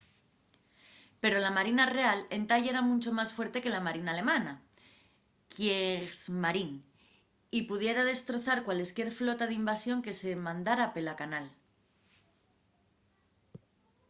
pero la marina real entá yera muncho más fuerte que la marina alemana kriegsmarine” y pudiera destrozar cualesquier flota d’invasión que se mandara pela canal